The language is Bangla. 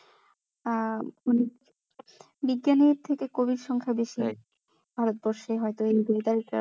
আহ অনেক বিজ্ঞানীর থেকে কবির সংখ্যা বেশি ভারতবর্ষে হয়তো